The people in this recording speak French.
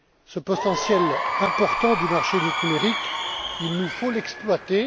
Ce potentiel important du marché unique numérique, il nous faut l'exploiter.